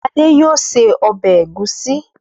Fadé yóò se ọbẹ̀ ẹ̀gúsí.